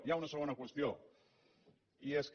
hi ha una segona qüestió i és que